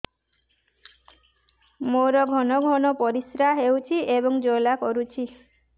ମୋର ଘନ ଘନ ପରିଶ୍ରା ହେଉଛି ଏବଂ ଜ୍ୱାଳା କରୁଛି